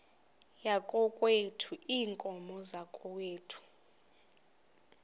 yakokwethu iinkomo zakokwethu